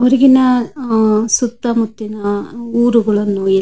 ಈಗಿನ ಅಹ್ ಅಹ್ ಸುತ್ತ ಮುತ್ತಿನ ಊರುಗಳು --